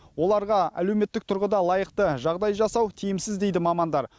оларға әлеуметтік тұрғыда лайықты жағдай жасау тиімсіз дейді мамандар